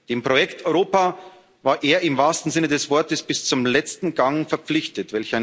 Dem Projekt Europa war er im wahrsten Sinne des Wortes bis zum letzten Gang verpflichtet.